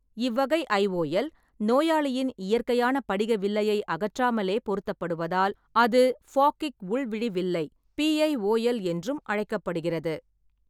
இவ்வகை ஐஓஎல் நோயாளியின் இயற்கையான படிக வில்லையை அகற்றாமலே பொருத்தப்படுவதால் அது ஃபாகிக் உள்விழி வில்லை (பிஐஓஎல்) என்றும் அழைக்கப்படுகிறது.